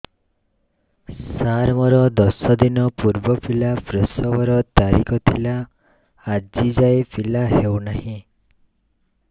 ସାର ମୋର ଦଶ ଦିନ ପୂର୍ବ ପିଲା ପ୍ରସଵ ର ତାରିଖ ଥିଲା ଆଜି ଯାଇଁ ପିଲା ହଉ ନାହିଁ